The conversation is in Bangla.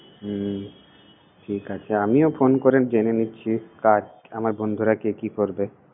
হমম ঠিক আছে, আমিও phone করে জেনে নিচ্ছি কাল আমার বন্ধুরা কে কি পড়বে।